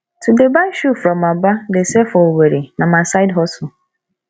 to dey buy shoe from aba dey sell for owerri na my side hustle